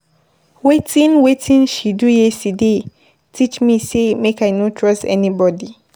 Wetin Wetin she do yesterday teach me sey make I no trust anybodi.